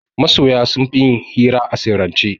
Masoya sunfi yin hira a sirrance